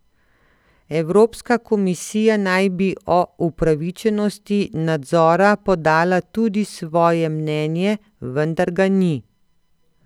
Evropska komisija naj bi o upravičenosti nadzora podala tudi svoje mnenje, vendar ga ni.